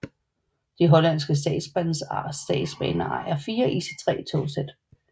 De hollandske statsbaner ejer fire ICE 3 togsæt